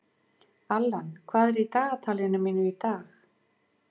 Allan, hvað er í dagatalinu mínu í dag?